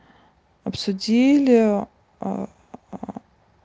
обсудили а а